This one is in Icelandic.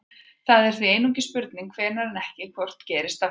það er því einungis spurning hvenær en ekki hvort gerist aftur